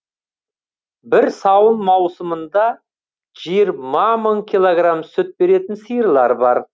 бір сауын маусымында жиырма мың килограмм сүт беретін сиырлар бар